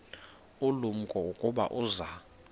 ulumko ukuba uza